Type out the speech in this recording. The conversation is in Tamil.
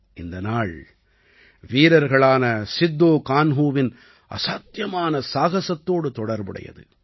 இந்த நாள் வீரர்களான சித்தோ கான்ஹூவின் அசாத்தியமான சாகசத்தோடு தொடர்புடையது